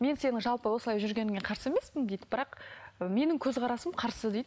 мен сенің жалпы осылай жүргеніңе қарсы емеспін дейді бірақ ы менің көзқарасым қарсы дейді